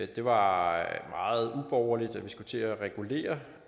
det var meget uborgerligt at vi skulle til at regulere